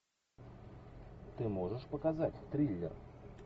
ты можешь показать триллер